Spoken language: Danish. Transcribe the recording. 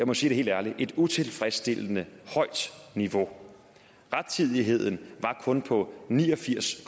mig sige det helt ærligt utilfredsstillende højt niveau rettidigheden var kun på ni og firs